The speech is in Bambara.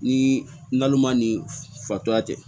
Ni nalonma ni fatura tɛ